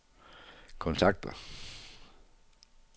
kontakter